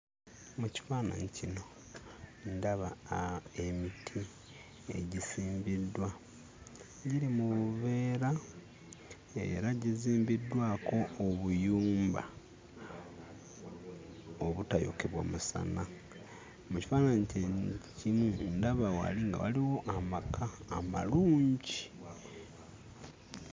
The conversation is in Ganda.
Mu kifaananyi kino, ndaba aa emiti egisimbiddwa. Giri mu buveera era gizimbiddwako obuyumba obutayokebwa musana. Mu kifaananyi kye kimu ndaba wali nga waliwo amaka amalungi.